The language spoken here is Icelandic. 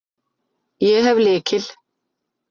Ég hef lykil.